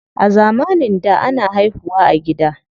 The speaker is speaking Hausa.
A zamanin da, ana haihu wa a gida.